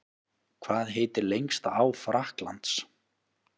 Hvað heitir lengsta á Frakklands?